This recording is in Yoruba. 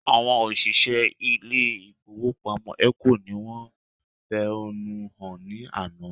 Àwọn òṣìṣẹ́ ilé ìfowópamọ́ ECO ni wọ́n fẹ̀hónú hàn ní àná